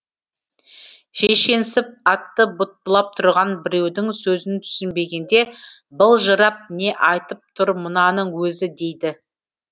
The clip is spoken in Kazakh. шешенсіп атты бұттылап тұрған біреудің сөзін түсінбегенде былжырап не айтып тұр мынаның өзі дейді